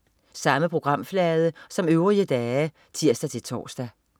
Samme programflade som øvrige dage (tirs-tors)